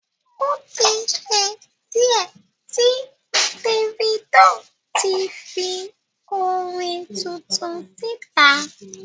O tí ṣe díẹ̀ tí Davido ti fi orin tuntun síta.